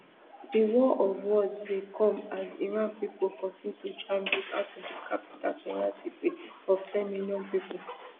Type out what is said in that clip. di war of words dey come as iran pipo kontinu to jam roads out of di capital tehran city of ten million pipo